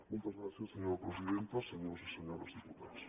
moltes gràcies senyora presidenta senyors i senyores diputats